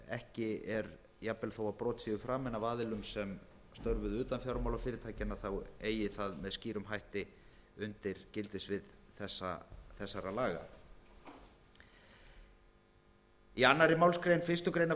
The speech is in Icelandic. ekki er jafnvel þó brot séu framin af aðilum sem störfuðu utan fjármálafyrirtækjanna þá eigi það með skýrum hætti undir gildissvið þessara laga í annarri málsgrein fyrstu grein